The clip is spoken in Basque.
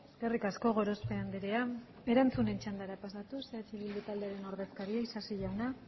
eskerrik asko gorospe anderea erantzunen txandara pasatuz eh bildu taldearen ordezkaria isasi jauna